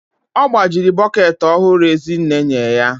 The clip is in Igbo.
Ọ gbajiri bọket ọhụrụ Ezinne enye ya